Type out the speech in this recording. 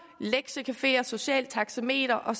lektiecafeer socialt taxameter og